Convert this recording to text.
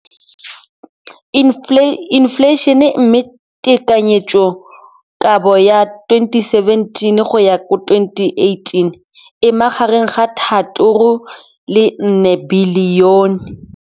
Infleišene, mme tekanyetsokabo ya 2017, 18, e magareng ga R6.4 bilione.